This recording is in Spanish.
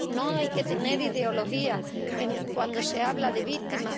No hay que tener ideología cuando se habla de víctimas